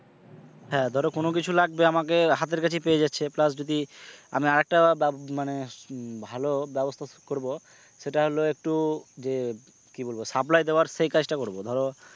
হ্যাঁ ধরো কোন কিছু লাগবে আমাকে হাতের কাছে পেয়ে যাচ্ছে plus যদি আমি আরেকটা মানে ভালো ব্যবস্থা করব সেটা হলো একটু ইয়ে কি বলবো supply দেওয়ার সেই কাজ টা করবো ধরো,